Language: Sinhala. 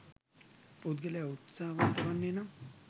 පුද්ගලයා උත්සාහවන්ත වන්නේ නම්